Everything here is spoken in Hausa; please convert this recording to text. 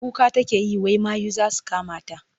Kuka take yi wai mayu za su kamata.